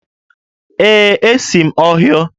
Ee, esi m Ọhaịo